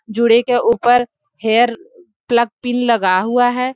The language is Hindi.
जोड़े के ऊपर हेयर पलग पिन लगा हुआ है।